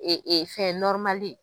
Ee ee fɛn ye.